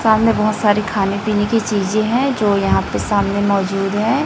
सामने बहोत सारी खाने पीने की चीजे हैं जो यहां पे सामने मौजूद हैं।